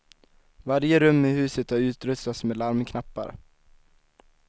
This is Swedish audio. Varje rum i huset har utrustats med larmknappar.